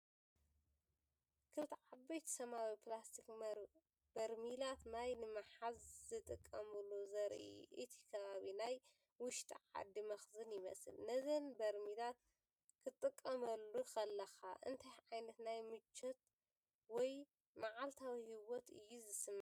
ክልተ ዓበይቲ ሰማያዊ ፕላስቲክ በርሚላት ማይ ንምሓዝ ዝጥቀሙሉ ዘርኢ እዩ። እቲ ከባቢ ናይ ውሽጢ ዓዲ መኽዘን ይመስል። ነዘን በርሚላት ክትጥምተን ከለኻ እንታይ ዓይነት ናይ ምቾት ወይ መዓልታዊ ህይወት እዩ ዝስምዓካ?